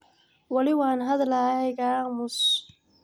Wali wanhadlahaya ikaamus.